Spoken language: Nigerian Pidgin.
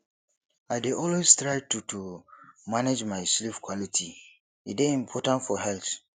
i dey always try to to manage my sleep quality e dey important for health